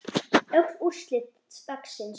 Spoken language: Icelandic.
Öll úrslit dagsins